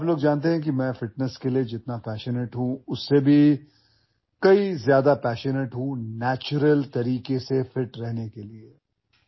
तुम्हां सर्वांना माहितच आहे की तंदुरुस्तीची मला जितकी आवड आहे त्याहून कितीतरी अधिक आवड नैसर्गिक पद्धतीने तंदुरुस्त राहण्याची आहे